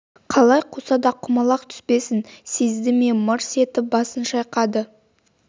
қалай қуса да құмалақ түспесін сезді ме мырс етіп басын шайқады